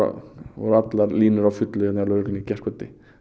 voru allar línur á fullu hérna hjá lögreglunni í gærkvöldi